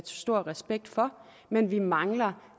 stor respekt for men vi mangler